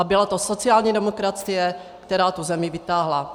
A byla to sociální demokracie, která tu zemi vytáhla.